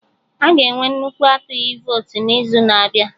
Aga enwe nnukwu atụghị votu n'izu na-abịa